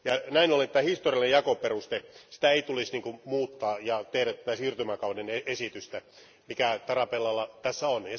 Näin ollen tämä historiallinen jakoperuste, sitä ei tulisi muuttaa ja tehdä tätä siirtymäkauden esitystä, mikä Tarabellalla tässä on.